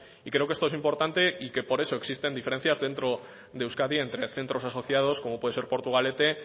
y creo que esto es importante y que pos eso existen diferencias dentro de euskadi entre centros asociados como puede ser portugalete